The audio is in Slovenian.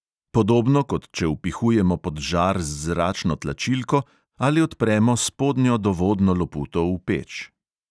Podobno kot če vpihujemo pod žar z zračno tlačilko ali odpremo spodnjo dovodno loputo v peč.